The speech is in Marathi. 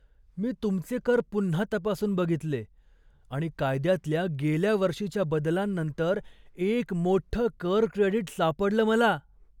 मी तुमचे कर पुन्हा तपासून बघितले आणि कायद्यातल्या गेल्या वर्षीच्या बदलांनंतर एक मोठ्ठं कर क्रेडिट सापडलं मला!